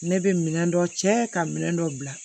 Ne bɛ minɛn dɔ cɛ ka minɛ dɔ bila